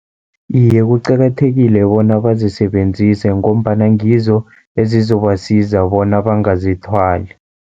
Iye, kuqakathekile bona bazisebenzise, ngombana ngizo ezizobasiza bona bangazithwali.